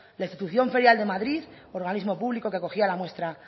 la institución ferial de madrid organismo público que acogía la muestra